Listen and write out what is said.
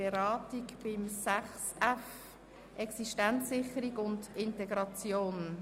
Auswirkungen auf Flüchtlingssozialhilfe (Massnahme 44.7.3): Ablehnen der Massnahme.